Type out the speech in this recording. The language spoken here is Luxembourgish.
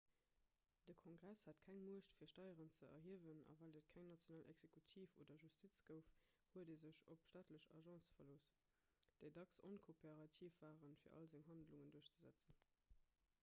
de kongress hat keng muecht fir steieren ze erhiewen a well et keng national exekutiv oder justiz gouf huet e sech op staatlech agence verlooss déi dacks onkooperativ waren fir all seng handlungen duerchzesetzen